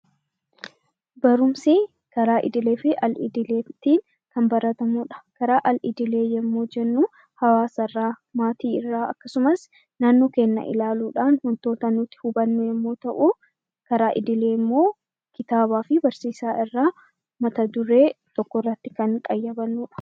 Barumsi karaa idilee fi al idileetiin kan baratamu dha. Karaa al idilee yommuu jennuu Hawaasa irraa, maatii irraa akkasumas naannoo keenya ilaaluudhaan wantoota nuti hubannu yoo ta'u; karaa idilee immoo kitaaba fi barsiisaa irraa mata duree tokko irratti kan qayyabannu dha.